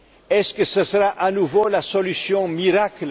avant. Est ce que ce sera à nouveau la solution miracle?